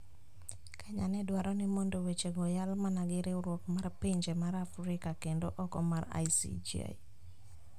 Kenya ne dwaro mondo wechego oyal mana gi riwruok mar pinje mar Afrika kendo oko mar ICJ